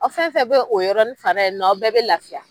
Aw fɛn fɛn bɛ o yɔrɔni fan na ye nɔ a bɛɛ bɛ lafiya.